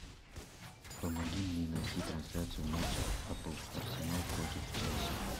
помоги мне найти трансляцию матча апл арсенал против челси